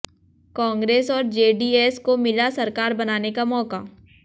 कांग्रेस और जेडीएस को मिला सरकार बनाने का मौका